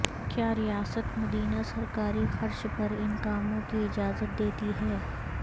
کیا ریاست مدینہ سرکاری خرچ پر ان کاموں کی اجازت دیتی ہے